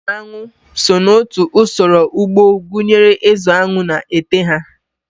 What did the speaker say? Ịzụ aṅụ so n'otu usoro ugbo gụnyere ịzụ aṅụ na ete ha.